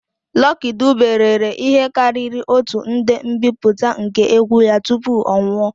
Lucky Dube rere ihe karịrị otu nde mbipụta nke egwu ya tupu ọ nwụọ.